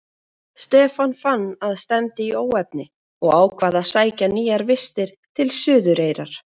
Stefán fann að stefndi í óefni og ákvað að sækja nýjar vistir til Suðureyrar.